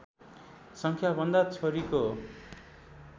सङ्ख्याभन्दा छोरीको